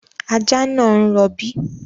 Ajá náà ń rọ̀bí